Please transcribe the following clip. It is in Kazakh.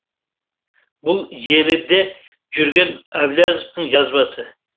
бұл желіде жүрген әблязовтың жазбасы